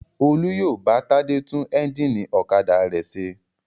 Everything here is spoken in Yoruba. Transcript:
Olú yóò bá Tádé tún ẹ́ńjínì ọ̀kadà rẹ̀ ṣe.